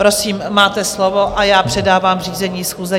Prosím, máte slovo, a já předávám řízení schůze.